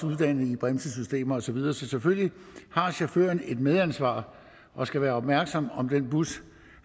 uddannet i bremsesystemer og så videre så selvfølgelig har chaufføren et medansvar og skal være opmærksom på om den bus